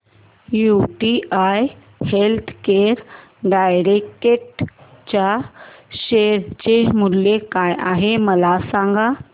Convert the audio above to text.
UTI healthcare direct च्या share चे मूल्य काय आहे मला सांगा